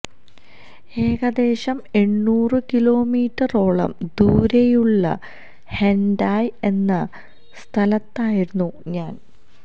ഏകദേശം എണ്ണൂറു കിലോമീറ്ററോളം ദൂരെയുള്ള ഹെന്ഡായ എന്ന സ്ഥലത്തായിരുന്നു ഞാന്